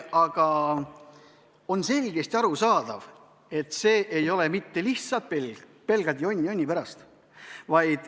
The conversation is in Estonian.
Aga on selgesti arusaadav, et see ei ole mitte lihtsalt pelgalt jonn jonni pärast.